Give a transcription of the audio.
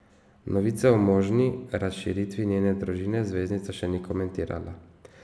Novice o možni razširitvi njene družine zvezdnica še ni komentirala.